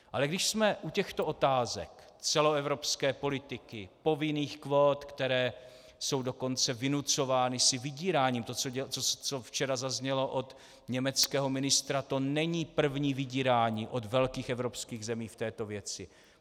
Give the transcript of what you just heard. Ale když jsme u těchto otázek celoevropské politiky, povinných kvót, které jsou dokonce vynucovány si vydíráním - to, co včera zaznělo od německého ministra, to není první vydírání od velkých evropských zemí v této věci.